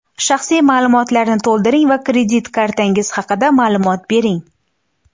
Shaxsiy ma’lumotlarni to‘ldiring va kredit kartangiz haqida ma’lumot bering.